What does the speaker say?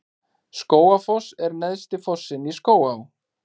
Skógafoss er neðsti fossinn í Skógaá.